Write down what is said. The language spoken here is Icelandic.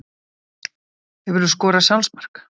Hefurðu skorað sjálfsmark?